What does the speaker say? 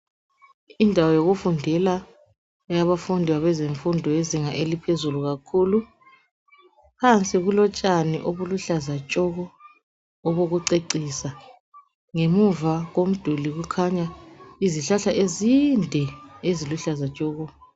Indawo yokufundela yabafundi yezinga eliphezulu kakhulu phansi kulotshani obuluhlaza tshoko obokucecisa. Ngemuva komduli kukhanya izihlahla ezinde eziluhlaza tshoko.